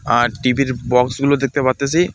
আর TV. -র box গুলো দেখতে পারতেসি।